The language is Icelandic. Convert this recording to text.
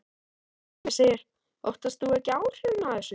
Heimir: Óttast þú ekki áhrifin af þessu?